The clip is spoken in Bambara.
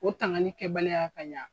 O tanganli kɛbaliya ka ɲa.